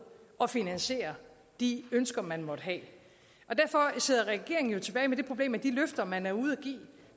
at finansiere de ønsker man måtte have på derfor sidder regeringen jo tilbage med det problem at de løfter man er ude